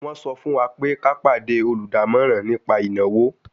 Wọ́n sọ fún wa pé ká pàdé olùdámọ̀ràn nípa ìnáwó